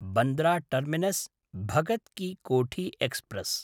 बन्द्रा टर्मिनस्–भगत् कि कोठी एक्स्प्रेस्